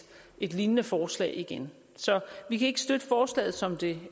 et lignende forslag igen så vi kan ikke støtte forslaget som det